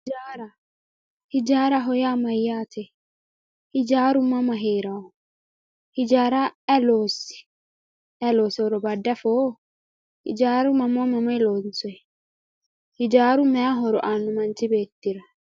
Ijjaara, ijjaaraho yaa mayatr, ijjaaru mama heerawo, ijjaara ayi loosi ayi loosewoto bade afoo, ijjaara mamoye mamoye loonsoyi, ijjaaru mayi horo aano manchi beettira